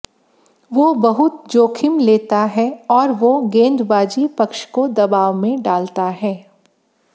वो बहुत जोखिम लेता है और वो गेंदबाजी पक्ष को दबाव में डालता है